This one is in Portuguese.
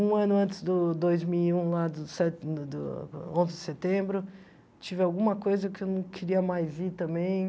Um ano antes do dois mil e um, lá do se do do onze de setembro, tive alguma coisa que eu não queria mais ir também.